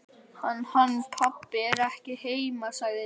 Hann. hann pabbi er ekki heima sagði Lilla.